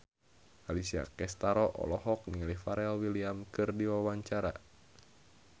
Alessia Cestaro olohok ningali Pharrell Williams keur diwawancara